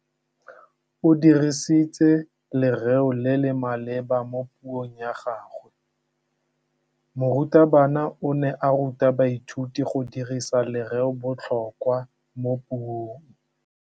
O dirisitse lerêo le le maleba mo puông ya gagwe. Morutabana o ne a ruta baithuti go dirisa lêrêôbotlhôkwa mo puong.